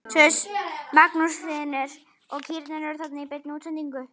Magnús Hlynur: Og kýrnar eru þarna í beinni útsendingu?